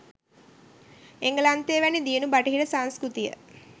එංගලන්තය වැනි දියුණු බටහිර සංස්කෘතිය